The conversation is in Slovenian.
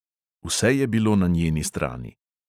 Vse je bilo na njeni strani.